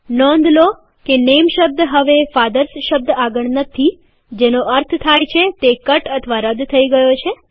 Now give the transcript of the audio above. નોંધ લો કે નેમ શબ્દ હવે ફાધર્સ શબ્દ આગળ નથી જેનો અર્થ થાય છે તે કટ અથવા રદ થઇ ગયો છે